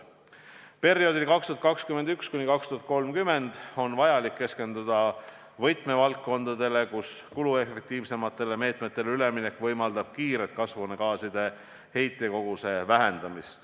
Perioodil 2021–2030 on vaja keskenduda võtmevaldkondadele, kus kuluefektiivsematele meetmetele üleminek võimaldab kasvuhoonegaaside heitkogust kiiresti vähendada.